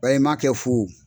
m'a kɛ fu wo.